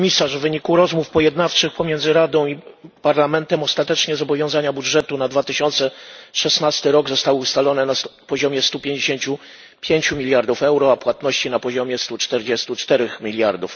W wyniku rozmów pojednawczych pomiędzy Radą i Parlamentem ostatecznie zobowiązania w budżecie na 2016 rok zostały ustalone na poziomie 155 mld euro, a płatności na poziomie 144 mld euro.